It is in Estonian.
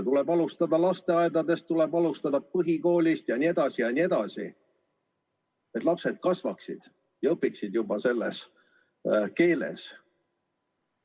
Tuleb alustada lasteaedadest, tuleb alustada põhikoolist jne, et lapsed kasvaksid ja õpiksid selles keeles.